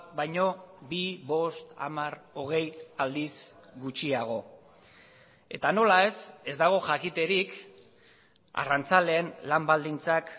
baino bi bost hamar hogei aldiz gutxiago eta nola ez ez dago jakiterik arrantzaleen lan baldintzak